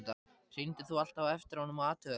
Hringdir þú alltaf á eftir honum og athugaðir það?